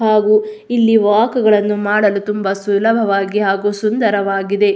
ಹಾಗು ಇಲ್ಲಿ ವಾಕ್ ಗಳನ್ನೂ ಮಾಡಲು ತುಂಬ ಸುಲಭವಾಗಿ ಹಾಗು ಸುಂದರವಾಗಿದೆ.